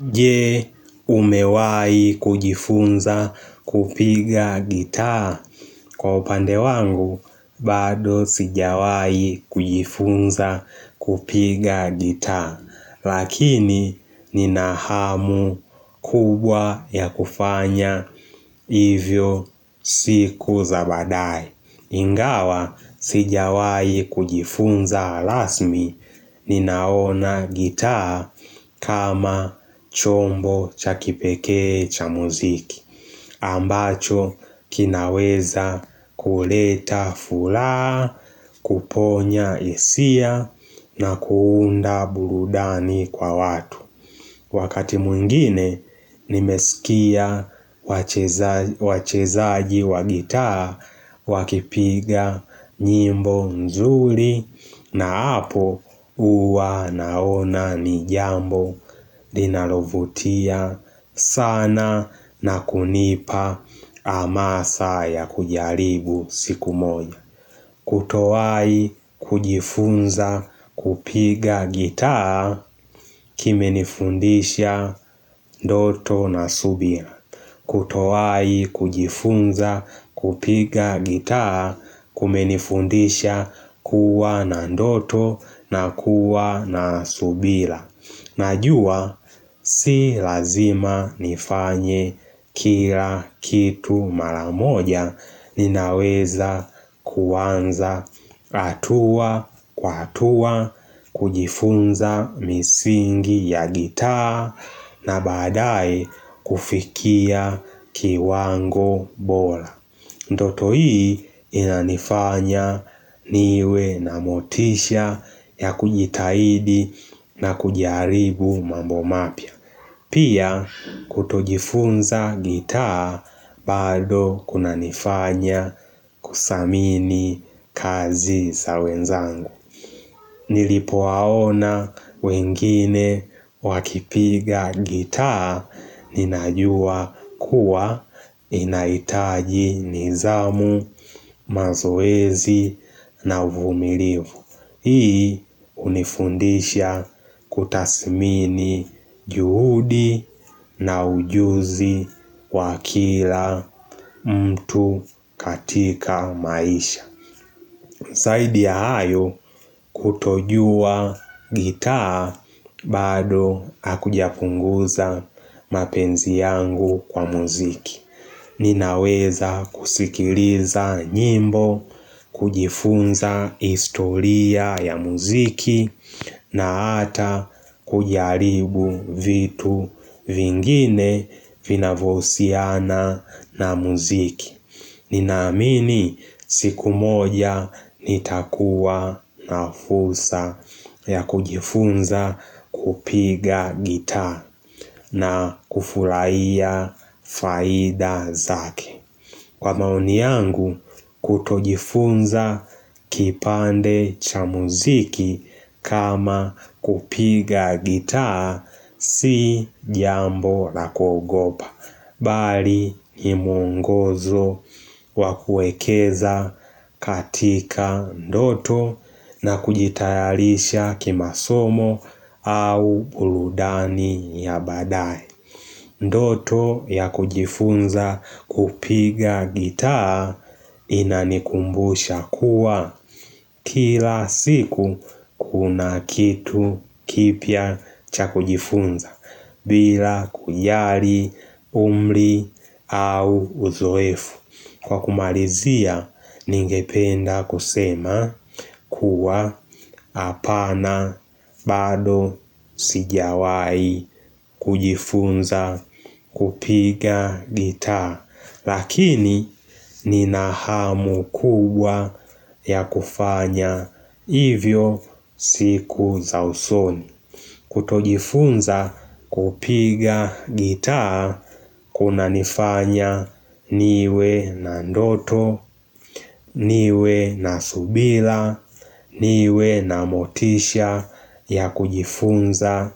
Je, umewahi kujifunza kupiga gitaa? Kwa upande wangu, bado sijawahi kujifunza kupiga gitaa. Lakini, nina hamu kubwa ya kufanya, hivyo siku za baadaye. Ingawa sijawahi kujifunza rasmi, ninaona gitaa kama chombo cha kipekee cha muziki. Ambacho kinaweza kuleta furaha, kuponya hisia na kuunda burudani kwa watu. Wakati mwingine nimesikia wachezaji wa gitaa wakipiga nyimbo nzuri na hapo huwa naona ni jambo linalovutia sana na kunipa hamasa ya kujaribu siku moja. Kutowahi kujifunza kupiga gitaa kimenifundisha ndoto na subira. Kutowahi kujifunza kupiga gitaa kumenifundisha kuwa na ndoto na kuwa na subira. Najua si lazima nifanye kila kitu mara moja ninaweza kuanza hatua kwa hatua kujifunza misingi ya gitaa na baadaye kufikia kiwango bora Ndoto hii inanifanya niwe na motisha ya kujitahidi na kujaribu mambo mapya. Pia kutojifunza gitaa bado kunanifanya kudhamini kazi za wenzangu. Nilipowaona wengine wakipiga gitaa ninajua kuwa ninahitaji nidhamu, mazoezi na uvumilivu. Hii hunifundisha kutathmini juhudi na ujuzi wa kila mtu katika maisha. Zaidi ya hayo kutojua gitaa bado hakujapunguza mapenzi yangu kwa muziki. Ninaweza kusikiliza nyimbo, kujifunza historia ya muziki na hata kujaribu vitu vingine vinavyohusiana na muziki. Ninaamini siku moja nitakuwa na fursa ya kujifunza kupiga gitaa na kufurahia faida zake. Kwa maoni yangu kutojifunza kipande cha muziki kama kupiga gitaa si jambo la kuogopa. Bali ni mwongozo wa kuekeza katika ndoto na kujitayarisha kimasomo au burudani ya baadae Ndoto ya kujifunza kupiga gitaa inanikumbusha kuwa Kila siku kuna kitu kipya cha kujifunza bila kujali umri au uzoefu. Kwa kumalizia ningependa kusema kuwa hapana bado sijawahi kujifunza kupiga gitaa. Lakini nina hamu kubwa ya kufanya hivyo siku za usoni. Kutojifunza kupiga gitaa kunanifanya niwe na ndoto, niwe na subira, niwe na motisha ya kujifunza